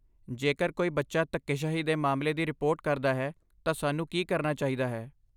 ਜੇਕਰ ਕੋਈ ਬੱਚਾ ਧੱਕੇਸ਼ਾਹੀ ਦੇ ਮਾਮਲੇ ਦੀ ਰਿਪੋਰਟ ਕਰਦਾ ਹੈ ਤਾਂ ਸਾਨੂੰ ਕੀ ਕਰਨਾ ਚਾਹੀਦਾ ਹੈ?